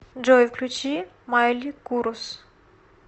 джой включи майли курус